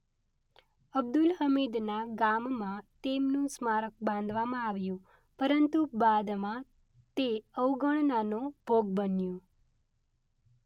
અબ્દુલ હમીદના ગામમાં તેમનું સ્મારક બાંધવામાં આવ્યું પરંતુ બાદમાં તે અવગણનાનો ભોગ બન્યું.